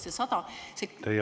Teie aeg!